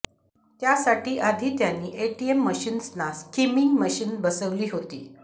त्यासाठी आधी त्यांनी एटीएम मशीन्सना स्कीमिंग मशीन बसवली होती